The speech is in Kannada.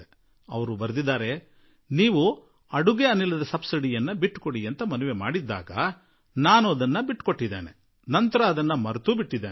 ಅವರು ಪತ್ರದಲ್ಲಿ ಬರೆದಿದ್ದಾರೆ ನೀವು ಅನಿಲ ಸಬ್ಸಿಡಿ ಬಿಟ್ಟುಕೊಡಿ ಎಂದು ಮನವಿ ಮಾಡಿದ್ದಿರಿ ಅದರಂತೆ ನಾನು ಅನಿಲ ಸಬ್ಸಿಡಿ ಬಿಟ್ಟುಕೊಟ್ಟಿದ್ದೆ ಮತ್ತು ಆಮೇಲೆ ಇದನ್ನು ಮರೆತೂಬಿಟ್ಟಿದ್ದೆ